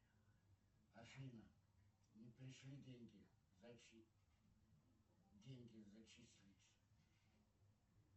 афина не пришли деньги деньги зачислить